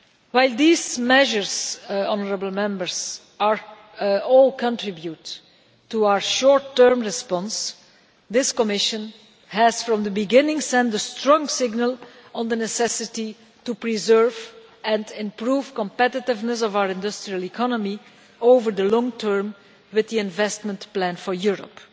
While these measures all contribute to our short term response, this Commission has from the beginning sent a strong signal on the necessity to preserve and improve the competitiveness of our industrial economy over the long term with the Investment Plan for Europe.